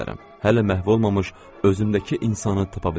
Hələ məhv olmamış özümdəki insanı tapa bilərəm.